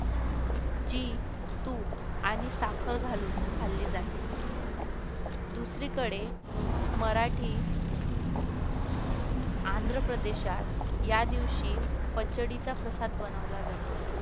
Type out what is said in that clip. जी तूप आणि साखर घालून खाल्ली जाते दुसरीकडे मराठी आंध्रप्रदेशात या दिवशी पचडीचा प्रसाद बनवला जातो